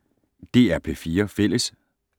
DR P4 Fælles